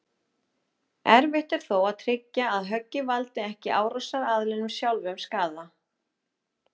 Erfitt er þó að tryggja að höggið valdi ekki árásaraðilanum sjálfum skaða.